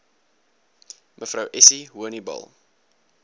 mev essie honiball